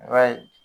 I b'a ye